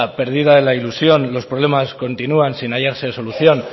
perdida la ilusión los problemas continúan sin hallarse solución